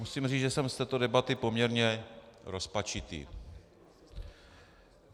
Musím říct, že jsem z této debaty poměrně rozpačitý.